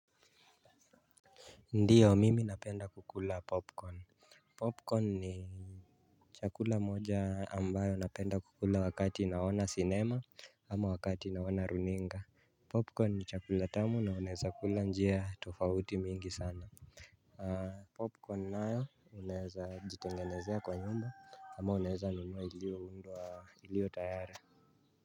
Ndiyo mimi napenda kukula popcorn. Popcorn ni chakula moja ambayo napenda kukula wakati naona cinema ama wakati naona runninga. Popcorn ni chakula tamu na uneza kula njia tofauti mingi sana. Popcorn nayo unaeza jitengenezea kwa nyumba ama unaeza nunua ilio undwa ilio tayara.